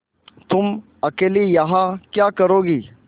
तुम अकेली यहाँ क्या करोगी